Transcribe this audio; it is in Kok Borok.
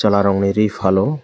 chwla rok ni ree falo.